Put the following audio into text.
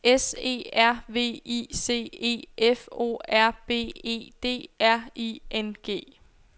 S E R V I C E F O R B E D R I N G